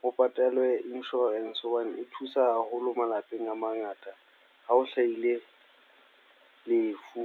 ho patalwe insurance. Hobane e thusa haholo malapeng a mangata. Ha o hlahile lefu.